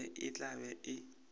be e tla be e